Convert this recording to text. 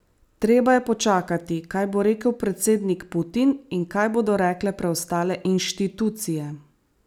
Treba je počakati, kaj bo rekel predsednik Putin in kaj bodo rekle preostale inštitucije.